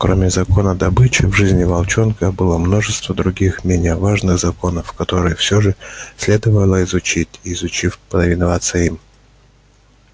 кроме закона добычи в жизни волчонка было множество других менее важных законов которые все же следовало изучим и изучив повиноваться им